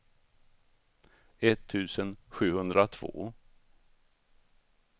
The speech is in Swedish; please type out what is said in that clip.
etttusen sjuhundratvå